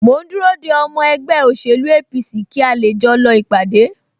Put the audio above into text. Mò ń dúró de ọmọ ẹgbẹ́ òṣèlú APC kí a lè jọ lọ ìpàdé